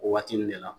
O waati ninnu de la